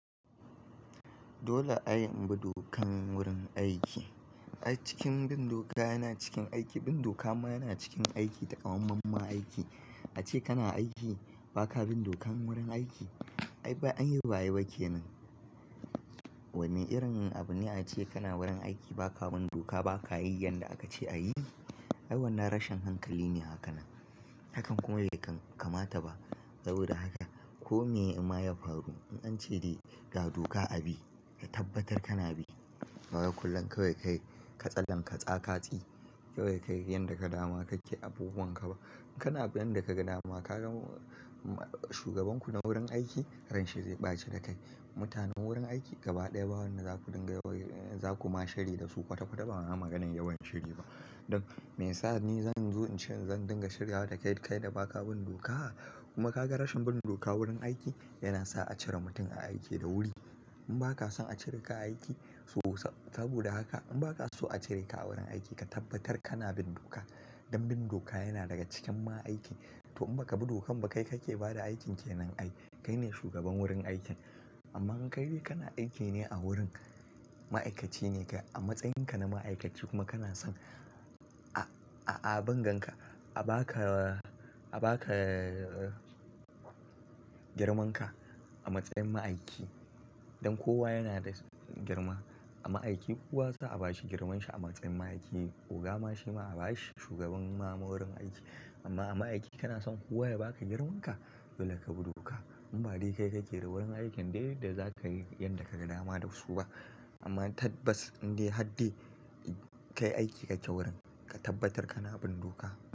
Dole ai imbi dokan wurin aiki. A cikin bin doka yana cikin aiki, bin doka ma yana cikin aiki da kwamamman aiki. Ace kana aiki baka bin dokan wurin aiki. Ai ba an yi baye ba kenan. Wane irin abu ne ace kana wurin aiki baka bin doka, baka yi yanda aka ce a yi? Ai wannan rashin hankali ne haka nan. Hakan kuma bai kamata ba. Saboda haka kome in ma ya faru, in an ce dai ga doka abi ka tabbatar kana bi. Ba wai kullum kawai kai ka tsallan ka tsaka tsi. Kawai kayi yanda ka dama kake abubuwan ka ba. In kana bin yanda ka ga dama, ka gan shugaban ku na wurin aiki harin shi zai ɓace da kai. Mutanen wurin aiki gaba ɗaya ba wanɗa zaku dinga yawan-- za ku ma shirya da su kwata-kwata ba a yi maganar yawan shiri ba. Don me yasa ni zan zo in ce zan dinga shirya da kai da baka bin doka kuma ka ga rashin bin doka wurin aiki yana sa a cire mutum a aiki da wuri. In ba ka son a cire ka a aiki, to saboda haka in ba ka so a cire ka a wurin aiki ka tabbatar kana bin doka. Dan bin doka yana daga cikin ma'aikin to in ba ka bi dokan ba kai kake bada aikin kenan ai. Kai ne shugaban wurin aikin. Amma in kai dai kana aiki ne a wurin, ma'aikaci ne ka a matsayin ka na ma'aikaci kuma kana son a, a binganka, a ba ka, a ba ka girman ka a matsayin ma'aikin. Don kowa yana da girma. A ma'aiki kowa za a bashi girmanshi a matsayin ma'aiki. Oga ma shi ma a ba shi shugaban ma'a-ma'a wurin aiki. Amma a ma'aikaci kana son kowa ya ba ka girman ka, dole ka bi doka. In ba dai kai ka ke da wurin aikin dai da za ka yi yanda ka ga dama da wasu ba. Amma tad bas indai hardai ka yi aiki ka kyau wurin ka tabbatar kana bin doka.